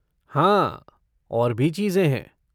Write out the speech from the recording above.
हाँ, और भी चीज़ें हैं।